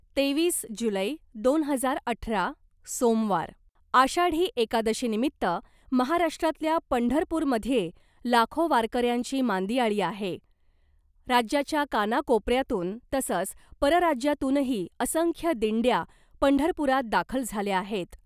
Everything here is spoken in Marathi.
तेवीस जुलै , दोन हजार अठरा सोमवार आषाढी एकादशी निमित्त महाराष्ट्रातल्या पंढरपुरमध्ये लाखो वारकऱ्यांची मांदियाळी आहे राज्याच्या कानाकोपऱ्यातून तसंच परराज्यातूनही असंख्य दिंड्या पंढरपुरात दाखल झाल्या आहेत .